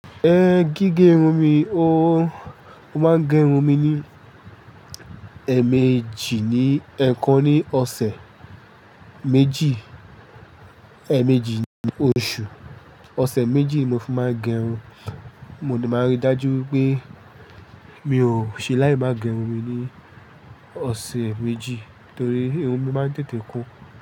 Ẹ gígé irun mi, o máa ń gé irun mi ní èèmejì ní ẹ̀ẹ̀kan ní ọ̀sẹ̀ méjì, èèmejì ní oṣù. Ọ̀sẹ̀ méjì ni mo fi máa ń gẹ irun. Mo ní máa ríi dájú wí pé mi ò ṣe láì máa gẹ irun mi ní ọ̀sẹ̀ méjì torí irun mi máa ń tètè kún.